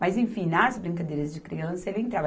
Mas, enfim, nas brincadeiras de criança, ele entrava.